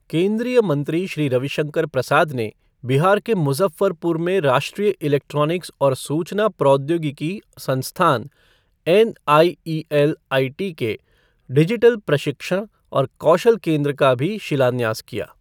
केंद्रीय मंत्री श्री रविशंकर प्रसाद ने बिहार के मुज़फ़्फ़रपुर में राष्ट्रीय इलेक्ट्रॉनिक्स और सूचना प्रौद्योगिकी संस्थान एनआईईएलआईटी के डिजिटल प्रशिक्षण और कौशल केंद्र का भी शिलान्यास किया।